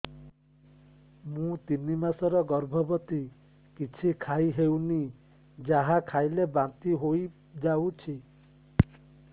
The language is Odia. ମୁଁ ତିନି ମାସର ଗର୍ଭବତୀ କିଛି ଖାଇ ହେଉନି ଯାହା ଖାଇଲେ ବାନ୍ତି ହୋଇଯାଉଛି